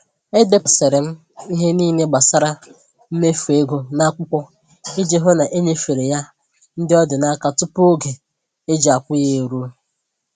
Edepụtasịrị m ihe niile gbasara mmefu ego n'akwụkwọ iji hụ na enyefere ya ndị ọ dị n'aka tupu oge e ji akwụ ya eruo